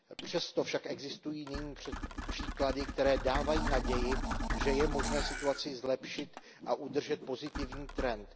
Přesto však existují nyní příklady, které dávají naději, že je možné situaci zlepšit a udržet pozitivní trend.